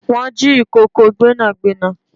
Wọn jì ìkòkò Gbẹ́nàgbẹ́nà